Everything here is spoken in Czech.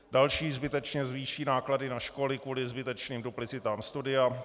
Dalším zbytečně zvýší náklady na školy kvůli zbytečným duplicitám studia.